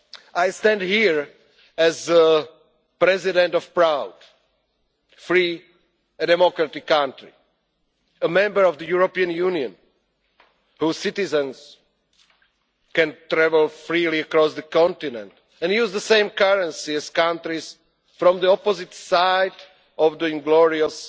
I stand here as the president of a proud, free and democratic country a member of the European Union whose citizens can travel freely across the continent and use the same currency as countries from the opposite side of the inglorious